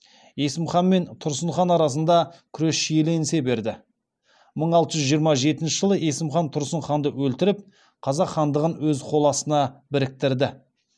есім хан мен тұрсын хан арасында күрес шиеленісе берді мың алты жүз жиырма жетінші жылы есім хан тұрсын ханды өлтіріп қазақ хандығын өз қол астына біріктірді